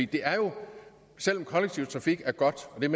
det er jo selv om kollektiv trafik er godt og den